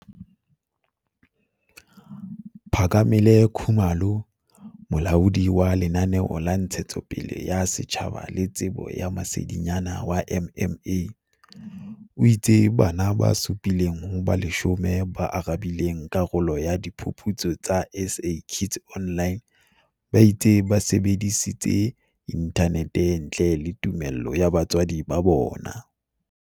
Phakamile Khumalo, Molaodi wa Lenaneo la Ntshetsopele ya Setjhaba le Tsebo ya Masedinyana wa MMA, o itse bana ba supi leng ho ba 10 ba arabileng dipotso tsa karolo ya Diphuputso tsa SA Kids Online ba itse ba sebedisitse inthanete ntle le tumello ya batswadi ba bona.